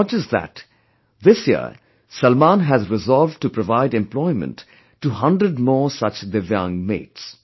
Not just that, this year Salman has resolved to provide employment to 100 more such divyang mates